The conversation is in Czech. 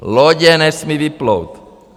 Lodě nesmějí vyplout.